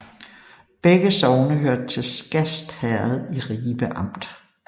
Begge sogne hørte til Skast Herred i Ribe Amt